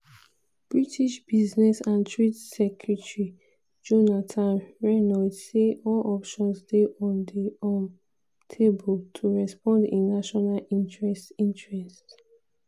british business and trade secretary jonathan reynolds say "all options dey on di um table" to respond in national interest. interest.